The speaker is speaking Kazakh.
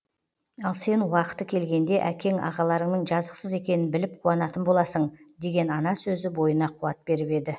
ал сен уақыты келгенде әкең ағаларыңның жазықсыз екенін біліп қуанатын боласың деген ана сөзі бойына қуат беріп еді